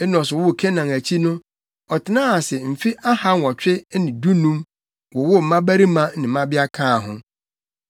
Enos woo Kenan akyi no, ɔtenaa ase mfe ahanwɔtwe ne dunum, wowoo mmabarima ne mmabea kaa ho.